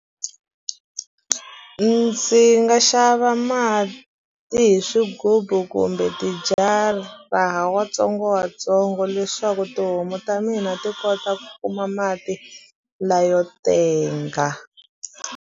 Ndzi nga xava mati hi swigubu kumbe tijara watsongowatsongo leswaku tihomu ta mina ti kota ku kuma mati la yo tenga.